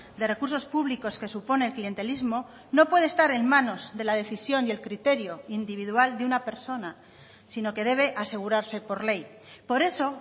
de recursos públicos que supone el clientelismo no puede estar en manos de la decisión y el criterio individual de una persona sino que debe asegurarse por ley por eso